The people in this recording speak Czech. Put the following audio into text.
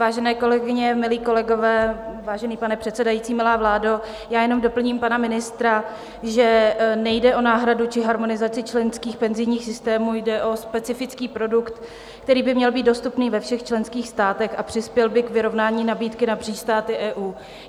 Vážené kolegyně, milí kolegové, vážený pane předsedající, milá vládo, já jenom doplním pana ministra, že nejde o náhradu či harmonizaci členských penzijních systémů, jde o specifický produkt, který by měl být dostupný ve všech členských státech a přispěl by k vyrovnání nabídky napříč státy EU.